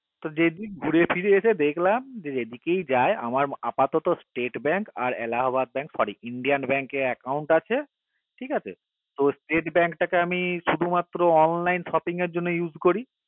যে দিক ঘুরে ফিরি এসে দেখলাম তো যেদিকেই যায় আমার আপাতত state bank আর alahabaad bank sorry indian bank এ account আছে ঠিক আছে তো state bank টাকে আমি শুধু মাত্র online shopping এর জন্য use করি